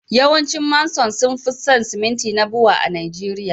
yawancin Manson sun fi son siminti na Bua a Najeriya